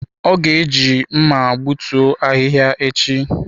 O ga-eji mma egbutu ahihia echi.